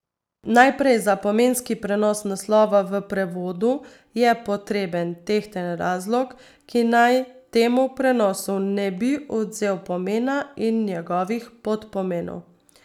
Najprej, za pomenski prenos naslova v prevodu je potreben tehten razlog, ki naj temu prenosu ne bi odvzel pomena in njegovih podpomenov.